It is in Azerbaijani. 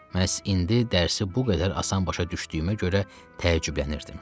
Məhz indi dərsi bu qədər asan başa düşdüyümə görə təəccüblənirdim.